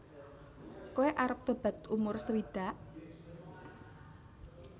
Koe arep tobat umur sewidak